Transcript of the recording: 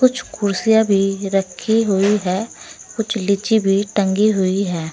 कुछ कुर्सियां भी रखी हुई है कुछ लिचि भी टंगी हुई है।